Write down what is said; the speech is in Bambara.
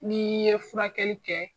N'i ye furakɛli kɛ.